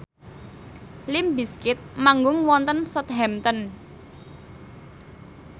limp bizkit manggung wonten Southampton